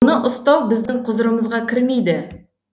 оны ұстау біздің құзырымызға кірмейді